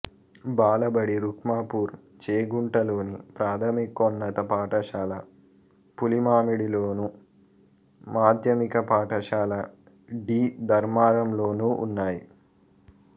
బాలబడి రుక్మాపూర్ చేగుంటలోను ప్రాథమికోన్నత పాఠశాల పులిమామిడిలోను మాధ్యమిక పాఠశాల డి ధర్మారంలోనూ ఉన్నాయి